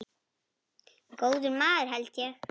Góður maður held ég.